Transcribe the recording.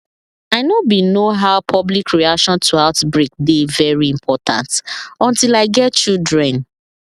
i know bin know how public reaction to outbreak dey very important until i get children